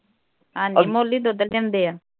ਹਾਂ ਜੀ ਮੁੱਲ਼ ਹੀ ਦੁੱਧ ਲਿਆਂਦੇ ਹਾਂ।